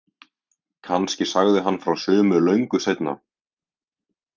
Kannski sagði hann frá sumu löngu seinna.